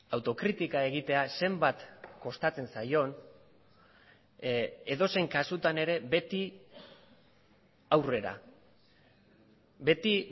autokritika egitea zenbat kostatzen zaion edozein kasutan ere beti aurrera beti